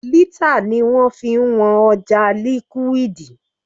Lítà ni wọ́n fi ń wọn ọjà liquid.